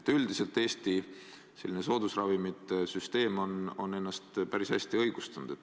Üldiselt on Eesti soodusravimite süsteem ennast päris hästi õigustanud.